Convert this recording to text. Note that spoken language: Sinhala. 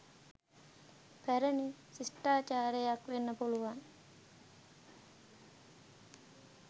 පැරණි ශිෂ්ටාචාරයක් වෙන්න පුළුවන්.